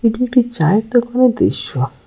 এটি একটি চায়ের় দোকানের দৃশ্য।